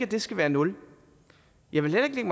det skal være nul jeg vil ikke